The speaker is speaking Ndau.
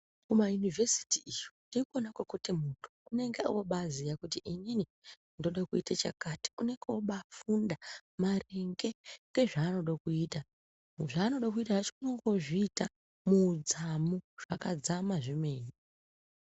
Kumayunivhesiti iyo ndikona kwekuti munthu unenge obaaziya kuti inini ndoda kuita chakati unenge oobaafunda maringe ngezvaanoda kuita, zvaanoda kuita zvacho unenge oozviita muudzamu zvakadzama zvemene.